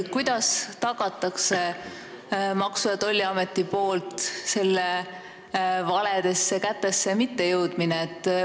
Kuidas tagab Maksu- ja Tolliamet, et see valedesse kätesse ei jõua?